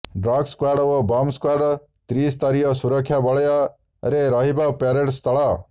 dog squad ଓ bomb squad ତ୍ରିସ୍ତରୀୟ ସୁରକ୍ଷା ବଳୟରେ ରହିବ ପରେଡ୍ ସ୍ଥଳ